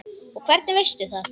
Og hvernig veistu það?